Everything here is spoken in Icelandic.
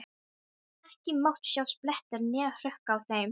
Ekki mátti sjást blettur né hrukka á þeim.